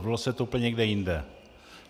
Zvrhlo se to úplně někde jinde.